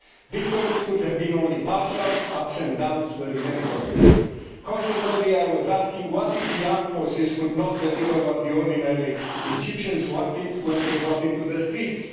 Victories could have been only partial ups and downs were inevitable. Consequently, I was asking what if the armed forces could not deliver what the ordinary Egyptians wanted when they got into the streets?